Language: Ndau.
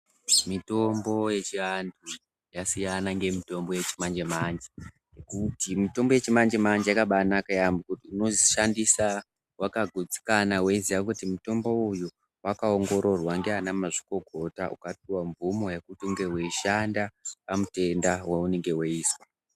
Mitombo yechivandu yasiyana nemitombo yechimanje manje nekuti mitombo yachi manje manje yakabayi naka yaambo nokuti unoshandisa wakagutsikana weyiziya kuti mutombo uyu wakaongororwa ndiana mazvikokota wakapiwe mvumo yekuti unge weyishanda pamatenda yaunenge weyizwa.